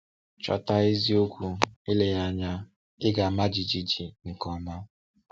Chọta eziokwu, eleghị anya ị ga-ama jijiji nke ọma.